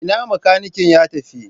Ina makanikin ya tafi?